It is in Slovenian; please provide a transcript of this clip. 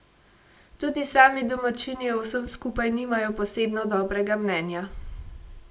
Tudi sami domačini o vsem skupaj nimajo posebno dobrega mnenja.